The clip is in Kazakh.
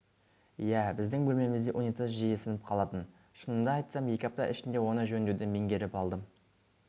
иә біздің бөлмемізде унитаз жиі сынып қалатын шынымды айтсам екі апта ішінде оны жөндеуді меңгеріп алдым